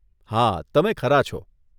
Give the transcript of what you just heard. હા, તમે ખરા છો.